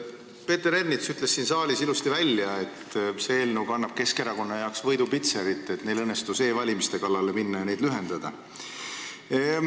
Peeter Ernits ütles siin saalis ilusasti välja, et see eelnõu kannab Keskerakonna jaoks võidupitserit, neil õnnestus e-valimise kallale minna ja seda aega lühendada.